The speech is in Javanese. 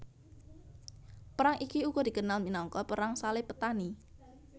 Perang iki uga dikenal minangka Perang Salib Petani